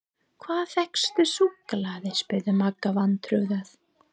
Hvar fékkstu súkkulaði? spurði Magga vantrúuð.